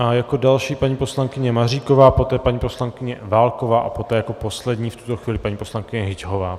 A jako další paní poslankyně Maříková, poté paní poslankyně Válková a poté jako poslední v tuto chvíli paní poslankyně Hyťhová.